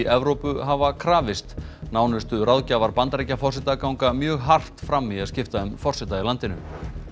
Evrópu hafa krafist nánustu ráðgjafar Bandaríkjaforseta ganga mjög hart fram í að skipta um forseta í landinu